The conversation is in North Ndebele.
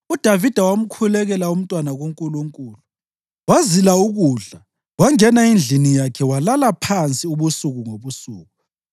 UDavida wamkhulekela umntwana kuNkulunkulu. Wazila ukudla wangena endlini yakhe walala phansi ubusuku ngobusuku.